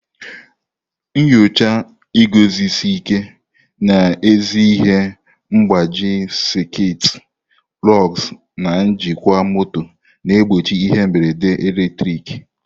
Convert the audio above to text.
Nyochaa iguzosi ike n'ezi ihe mgbaji sekit, lugs, na njikwa moto na-egbochi ihe mberede eletrik.